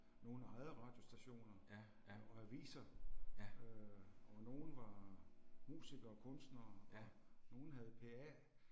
Nogle ejede radiostationer og aviser. Øh og nogle var musiker kunstnere og nogle havde P A